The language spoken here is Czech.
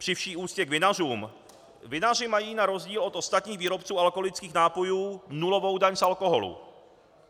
Při vší úctě k vinařům, vinaři mají na rozdíl od ostatních výrobců alkoholických nápojů nulovou daň z alkoholu.